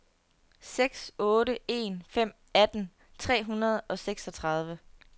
seks otte en fem atten tre hundrede og seksogtredive